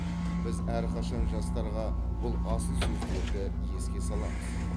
біз әрқашан жастарға бұл асыл сөздерді еске саламыз